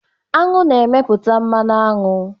Aṅụ na-emepụta mmanụ aṅụ.